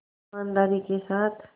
ईमानदारी के साथ